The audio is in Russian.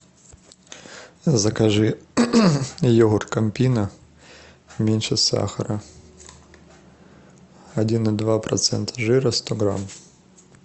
закажи йогурт кампино меньше сахара один и два процента жира сто грамм